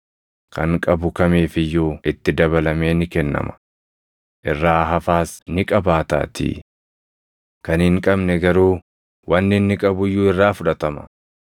Kan qabu kamiif iyyuu itti dabalamee ni kennama; irraa hafaas ni qabaataatii. Kan hin qabne garuu wanni inni qabu iyyuu irraa fudhatama.